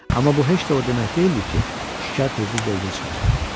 Amma bu heç də o demək deyildi ki, şikar tezliklə üzə çıxacaq.